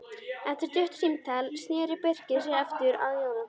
Eftir stutt símtal sneri Birkir sér aftur að Jóhanni.